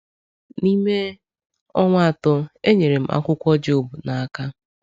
N’ime ọnwa atọ, e nyere m akwụkwọ Job n’aka.